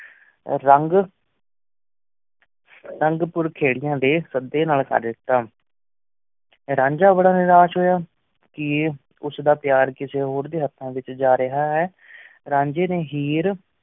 ਰੰਗ ਰੰਗਪੁਰ ਖੇੜਿਆਂ ਦੇ ਸੱਦੇ ਨਾਲ ਕਰ ਦਿਤਾ ਰਾਂਝਾ ਬੜਾ ਨਿਰਾਸ਼ ਹੋਇਆ ਕਿ ਉਸ ਦਾ ਪਿਆਰ ਕਿਸੇ ਹੋਰ ਦੇ ਹੱਥਾਂ ਵਿਚ ਜਾ ਰਿਹਾ ਹੈ ਰਾਂਝੇ ਨੇ ਹੀਰ